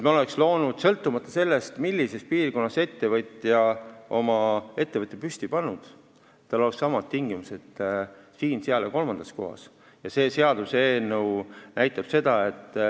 Me peame vaatama, et sõltumata sellest, millises piirkonnas ettevõtja on oma ettevõtte püsti pannud, tal oleksid samad tingimused siin, seal ja kolmandas kohas.